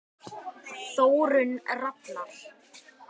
Þórunn Rafnar.